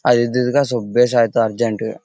ಅದ್ ಇದಿದ್ರೆ ಸ್ವಪ್ ಅಭ್ಯಾಸ ಆಯಿತ್ತು ಅರ್ಜನಟಗೆ .